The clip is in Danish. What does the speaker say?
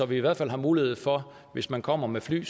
vi i hvert fald mulighed for hvis man kommer med fly